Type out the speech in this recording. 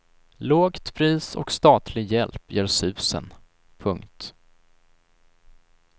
Lågt pris och statlig hjälp gör susen. punkt